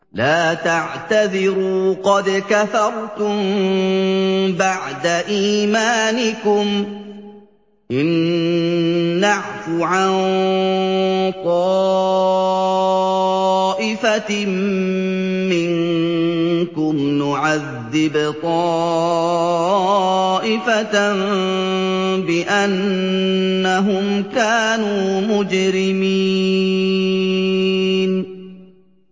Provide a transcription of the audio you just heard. لَا تَعْتَذِرُوا قَدْ كَفَرْتُم بَعْدَ إِيمَانِكُمْ ۚ إِن نَّعْفُ عَن طَائِفَةٍ مِّنكُمْ نُعَذِّبْ طَائِفَةً بِأَنَّهُمْ كَانُوا مُجْرِمِينَ